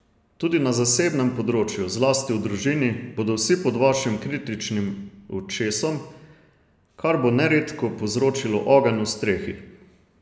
Tudi na zasebnem področju, zlasti v družini, bodo vsi pod vašim kritičnim očesom, kar bo neredko povzročilo ogenj v strehi.